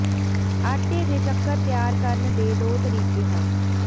ਆਟੇ ਦੇ ਚੱਕਰ ਤਿਆਰ ਕਰਨ ਦੇ ਦੋ ਤਰੀਕੇ ਹਨ